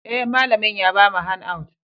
Eh, malamin ya bamu handouts.